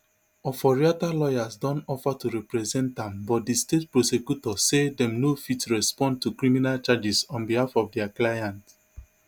oforiatta lawyers don offer to represent am but di state prosecutor say dem no fit respond to criminal charges on behalf of dia client